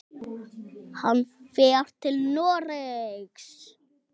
Hann fer til Noregs.